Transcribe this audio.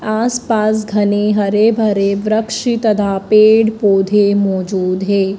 आस पास घने हरे भरे वृक्ष तथा पेड़ पौधे मौजूद है।